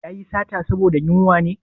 Ya yi sata saboda yunwa ne?